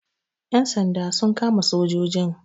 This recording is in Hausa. Ƴan sanda sun kama sojojin.